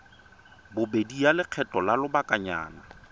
bobedi ya lekgetho la lobakanyana